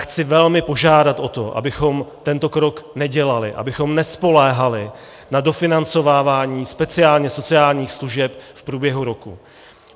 Chci velmi požádat o to, abychom tento krok nedělali, abychom nespoléhali na dofinancovávání speciálně sociálních služeb v průběhu roku.